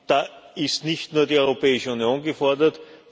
Da ist nicht nur die Europäische Union gefordert